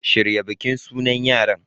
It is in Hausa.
Shirya bikin sunan yaran